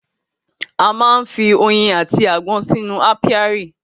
A má ń fi oyin àti agbọ́n sínú ápíárì